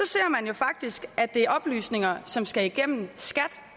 ser man jo faktisk at det er oplysninger som skal igennem skat